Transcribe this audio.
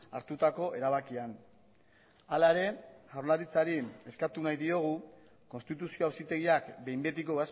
hartutako erabakian hala ere jaurlaritzari eskatu nahi diogu konstituzio auzitegiak behin betiko